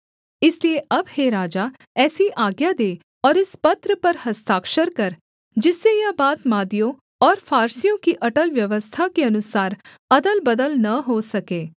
इसलिए अब हे राजा ऐसी आज्ञा दे और इस पत्र पर हस्ताक्षर कर जिससे यह बात मादियों और फारसियों की अटल व्यवस्था के अनुसार अदलबदल न हो सके